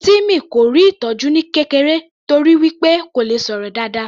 Timmy kò rí ìtọjú ní kékeré torí wí pé kò le sọ̀rọ̀ dáadáa